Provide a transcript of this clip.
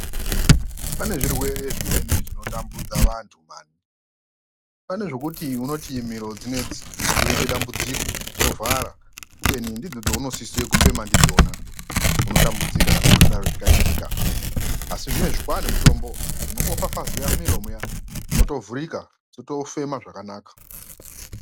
Pane zvirwere zvimweni zvinotambudze vantu mani, pane zvekuti unoti miro dzinedzi dzoite dambudziko dzovhara kubeni ndidzo dzaunosise kufema ndidzona unotambudzika kana zvakadaro zvikaitika asi zvinezvi kwaane mutombo unongofafazeya mumiro muya motovhurika dzotofema zvakanaka.